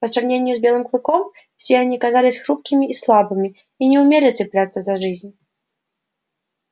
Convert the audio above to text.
по сравнению с белым клыком все они казались хрупкими и слабыми и не умели цепляться за жизнь